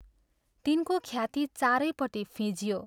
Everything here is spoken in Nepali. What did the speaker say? तिनको ख्याति चारैपट्टि फिंजियो।